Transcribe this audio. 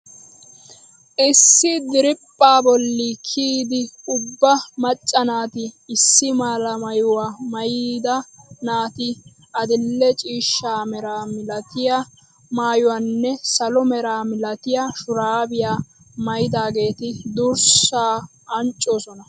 Issi diriphaa bolli kiyidi ubba macca naati issi mala maayuwaa maayida naati adil"e ciishshaa mera milatiyaa maayuwaanne salo mera milatiyaa shuraabiyaa maayidaageeti durssaa anccoosona!